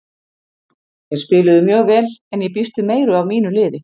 Þeir spiluðu mjög vel en ég býst við meiru af mínu liði.